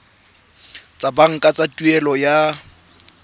tsa banka tsa tuelo ya